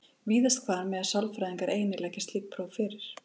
Víðast hvar mega sálfræðingar einir leggja slík próf fyrir.